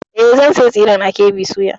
E, zan sayo tsiren a KB soya.